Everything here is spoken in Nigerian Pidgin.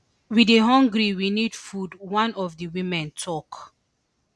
we dey hungry we need food one of di women tok